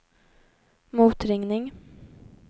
motringning